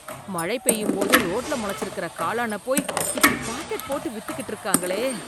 மழை பெய்யும் போது ரோட்ல முளைச்சிருக்கிற காளான போய் இப்படி பாக்கெட் போட்டு வித்துக்கிட்டு இருக்காங்களே!